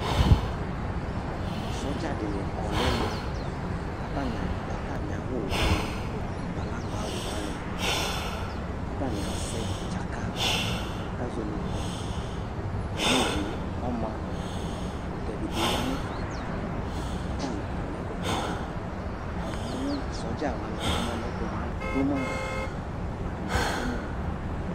sɔdja dɩnɩ kɔ nɛmɛ, kata nɩadʋata mɩawʋ wanɩ, agbalagba wʋ wanɩ, kata nɩazɛ tchaka bʋa kazɔ netu, ata mɩ owue ɔma, ɛkʋtɛ dɩ bɩ ɣa nɛ fɛamɛ kata nɩ ƙɔ nɛ kʋtɛ tʋ, amʋ sɔdza wanɩ mamʋ nɛtʋ madʋma, ɛtʋ madʋ ma